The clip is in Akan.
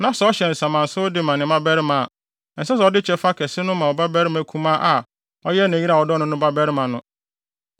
na sɛ ɔhyɛ nsamansew de ma ne mmabarima a, ɛnsɛ sɛ ɔde kyɛfa kɛse no ma ɔbabarima kumaa a ɔyɛ ne yere a ɔdɔ no no babarima no.